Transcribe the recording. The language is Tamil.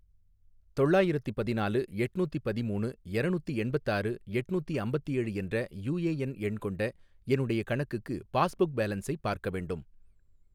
தொள்ளாயிரத்தி பதினாலு எட்நூத்தி பதிமூணு எரநூத்தி எண்பத்தாறு எட்நூத்தி அம்பத்தேழு என்ற யூஏஎன் எண் கொண்ட என்னுடைய கணக்குக்கு பாஸ்புக் பேலன்ஸை பார்க்க வேண்டும்